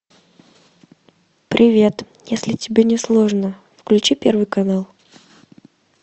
привет если тебе не сложно включи первый канал